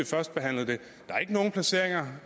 første behandling